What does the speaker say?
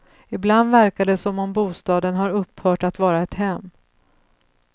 Ibland verkar det som om bostaden har upphört att vara ett hem.